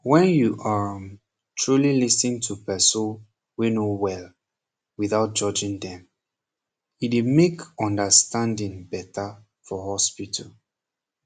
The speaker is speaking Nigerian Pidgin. wen you um truly lis ten to perso wey no wel without judging dem e dey make understanding beta for hospital